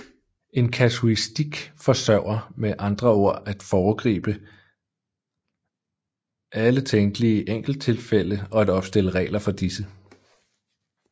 En kasuistik forsøger med andre ord at foregribe alle tænkelige enkelttilfælde og at opstille regler for disse